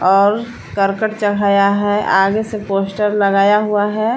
और करकट चढ़ाया है आगे से पोस्टर लगाया हुआ है।